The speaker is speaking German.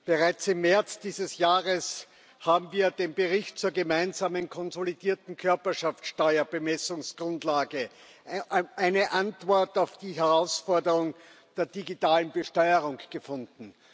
Bereits im März dieses Jahres haben wir mit dem Bericht zur gemeinsamen konsolidierten Körperschaftsteuerbemessungsgrundlage eine Antwort auf die Herausforderungen der digitalen Besteuerung gefunden.